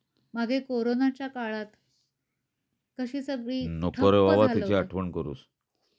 मागे कोरोनाच्या काळात कशी सगळी